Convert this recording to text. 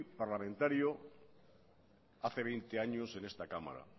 parlamentario hace veinte años en esta cámara